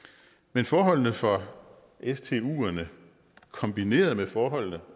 men forholdene for stuerne kombineret med forholdene